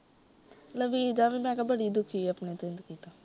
ਲਵੀਜਾ ਵੀ ਮੈ ਕਿਹਾ ਬੜੀ ਦੁੱਖੀ ਏ ਆਪਣੀ ਜਿੰਦਗੀ ਤੋਂ।